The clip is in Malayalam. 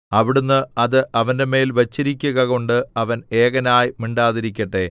അവിടുന്ന് അത് അവന്റെമേൽ വച്ചിരിക്കുക കൊണ്ട് അവൻ ഏകനായി മിണ്ടാതിരിക്കട്ടെ